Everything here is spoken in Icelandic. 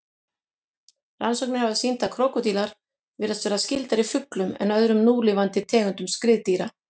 Rannsóknir hafa sýnt að krókódílar virðast vera skyldari fuglum en öðrum núlifandi tegundum skriðdýra.